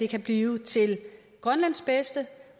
kan blive til grønlands bedste